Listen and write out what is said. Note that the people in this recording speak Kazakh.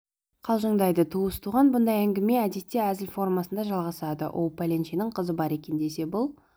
қалжыңдайды туыс-туған бұндай әңгіме әдетте әзіл формасында жалғасады оу пәленшенің қызы бар екен десе бұл